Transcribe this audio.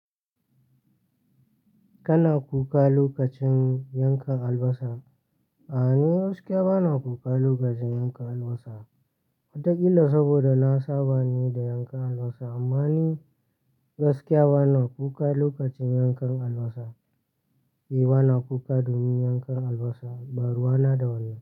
Kana kuka lokacin yanka albasa? A'a, ni gaskiya bana kuka lokacin yanka albasa. Wataƙila saboda na saba ne da yankan albasa amma ni gaskiya bana kuka lokacin yankan albasa. Eh, bana kuka domin yankan albasa. Baruwa na da wannnan?